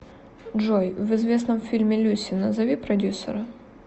джой в известном фильме люси назови продюсера